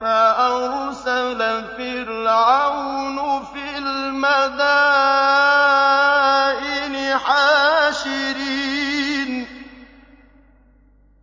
فَأَرْسَلَ فِرْعَوْنُ فِي الْمَدَائِنِ حَاشِرِينَ